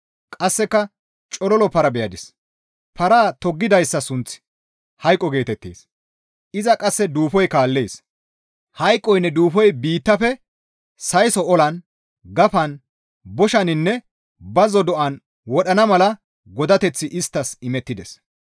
Qasseka Cololo para beyadis; paraa toggidayssa sunththi hayqo geetettees; iza qasse duufoy kaallees; hayqoynne Duufoy biittafe sayso olan, gafan, boshaninne bazzo do7an wodhana mala godateththi isttas imettides.